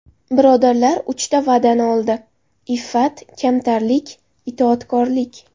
Birodarlar uchta va’dani oldi: iffat, kamtarlik, itoatkorlik.